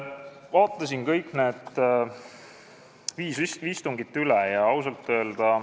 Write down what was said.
Vaatasin kõigi nende viie istungi protokollid üle.